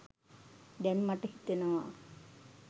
දැන් මට හිතෙනවා.